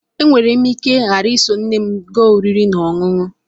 E nwere m ike ghara iso nne m gaa oriri na ọṅụṅụ